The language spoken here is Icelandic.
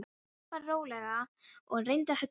Hann labbaði rólega og reyndi að hugsa málið.